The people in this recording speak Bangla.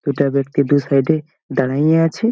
দুটা ব্যক্তি দুই সাইড এ দাঁড়িয়ে আছে।